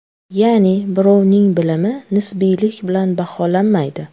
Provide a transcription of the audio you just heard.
Ya’ni birovning bilimi nisbiylik bilan baholanmaydi.